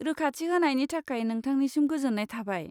रोखाथि होनायनि थाखाय नोंथांनिसिम गोजोन्नाय थाबाय।